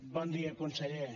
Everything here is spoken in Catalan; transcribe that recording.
bon dia conseller